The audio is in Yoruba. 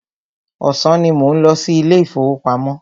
Ọ̀sán ní mò ń lọ sí ilé ìfọwọ́pamo.